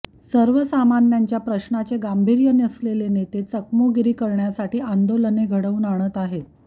सर्वसामान्यांच्या प्रश्नाचे गांभीर्य नसलेले नेते चमकोगिरी करण्यासाठी आंदोलने घडवून आणत आहेत